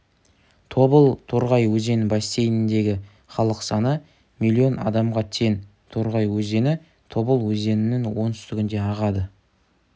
тобыл-торғай өзен бассейніндегі халық саны миллион адамға тең торғай өзені тобыл өзенінің оңтүстігінде ағады